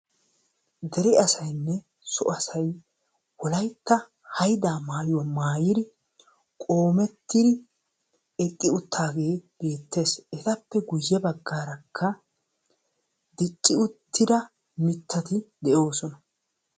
Deree asaayne so asaay wolaytta haydaa maayuwa maayiri qommetiri eqqi uttidage betees. Etape guuye baggaraka dicci uttida miitati deosona.